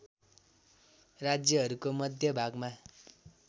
राज्यहरूको मध्य भागमा